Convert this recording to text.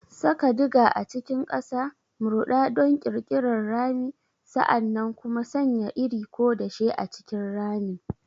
Saka diger a cikin ƙasa, murɗa don ƙirƙirar rami, sa'an nan kuma sanya iri ko dashe a cikin ramin.